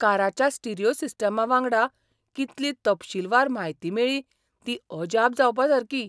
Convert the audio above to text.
काराच्या stereo सिस्टमा वांगडा कितली तपशीलवार म्हायती मेळ्ळी ती अजाप जावपासारकी.